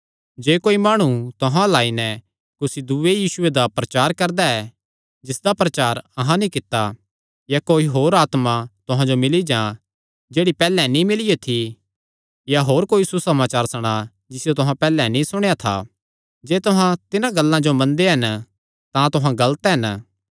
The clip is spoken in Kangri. जे कोई माणु तुहां अल्ल आई नैं कुसी दूये यीशुये दा प्रचार करदा ऐ जिसदा प्रचार अहां नीं कित्ता या कोई होर आत्मा तुहां जो मिल्ली जां जेह्ड़ी पैहल्ले नीं मिलियो थी या होर कोई सुसमाचार सणा जिसियो तुहां पैहल्ले नीं सुणेया था जे तुहां तिन्हां गल्लां जो मनदे हन तां तुहां गलत हन